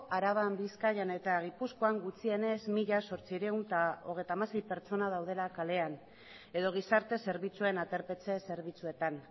araban bizkaian eta gipuzkoan gutxienez mila zortziehun eta hogeita hamasei pertsona daudela kalean edo gizarte zerbitzuen aterpetxe zerbitzuetan